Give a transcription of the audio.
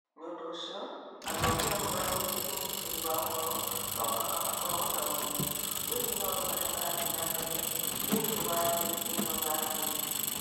Nĩ ũndũ ũcio, athomi a ũhoro wĩgiĩ ũgitĩri wa ũhoro no mũhaka makorũo na ũmenyo wĩgiĩ maũndũ marĩa marathiĩ na mbere thĩinĩ wa thĩ ĩno ya thimũ.